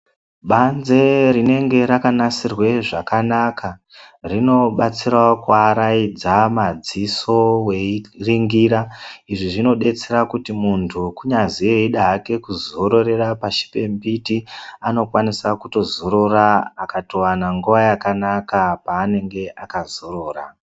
Banze rinenge rakanasirwe zvakanaka rinobatsirawo kuwaraidza madziso veiringira izvi zvinobatsira kuti muntu kunyazi weida hake kuzororera pasi pembiti unokwanisa kuzorora akatowana nguva yakanaka paanenge akazorora.